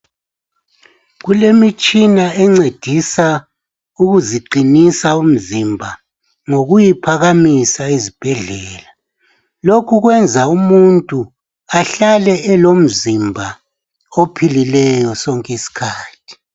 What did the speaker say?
Kulemitshina encedisa ukuziqinisa imizimba ngokuyiphakamisa ezibhedlela lokhu kwenza umuntu ahlale elomzimba ophilileyo sonke isikhathi.